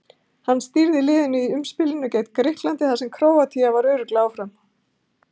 Hann stýrði liðinu í umspilinu gekk Grikklandi þar sem Króatía var örugglega áfram.